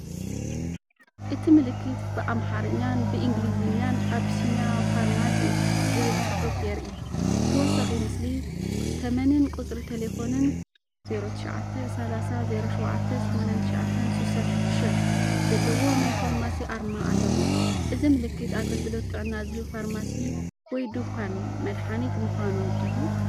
እቲ ምልክት ብኣምሓርኛን ብእንግሊዝኛን "ABYSSINIA PHARMACY" ዝብል ጽሑፍ የርኢ። ብተወሳኺ ምስሊ ተመንን ቁጽሪ ተሌፎንን (09 30 07 89 66) ዘለዎ ናይ ፋርማሲ ኣርማ ኣለዎ። እዚ ምልክት ኣገልግሎት ጥዕና ዝህብ ፋርማሲ ወይ ድኳን መድሃኒት ምዃኑ ድዩ?